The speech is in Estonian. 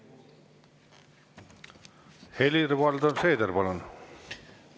Helir-Valdor Seeder, palun!